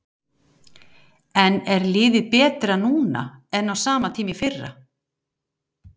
En er liðið betra núna en á sama tíma í fyrra?